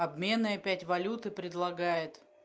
обменные опять валюты предлагает